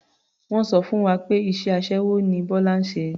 Wọ́n sọ fún wa pé iṣẹ́ aṣẹ́wó ni Bọ́lá ń ṣe.